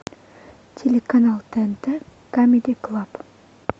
телеканал тнт камеди клаб